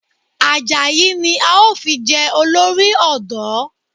Àjàyí ni a ó fi jẹ olórí ọ̀dọ́